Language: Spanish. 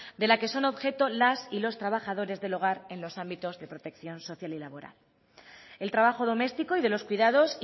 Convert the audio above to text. de la que son objeto las y los trabajadores del hogar en los ámbitos de protección social y laboral el trabajo doméstico y de los cuidados